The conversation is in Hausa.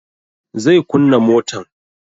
Zai kunna motan